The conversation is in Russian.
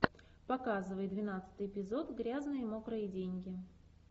показывай двенадцатый эпизод грязные мокрые деньги